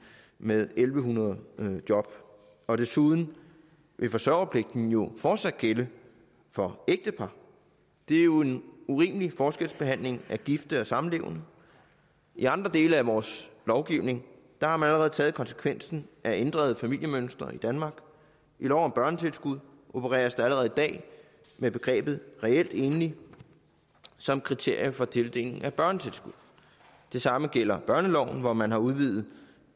med en tusind en hundrede job og desuden vil forsørgerpligten jo fortsat gælde for ægtepar det er jo en urimelig forskelsbehandling af gifte og samlevende i andre dele af vores lovgivning har man allerede taget konsekvensen af ændrede familiemønstre i danmark i lov om børnetilskud opereres der allerede i dag med begrebet reelt enlig som kriterie for tildeling af børnetilskud det samme gælder børneloven hvor man har udvidet